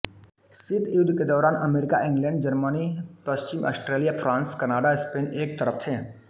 शीत युद्ध के दौरान अमरीका इंग्लैंड जर्मनी पश्चिम ऑस्ट्रेलिया फ्रांस कनाडा स्पेन एक तरफ थे